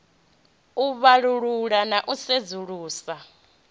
u vhalulula na u sedzulusa